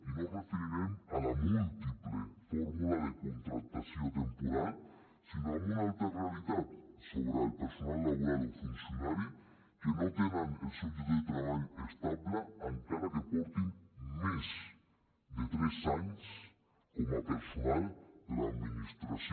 i no ens referirem a la múltiple fórmula de contractació temporal sinó a una altra realitat sobre el personal laboral o funcionari que no tenen el seu lloc de treball estable encara que portin més de tres anys com a personal de l’administració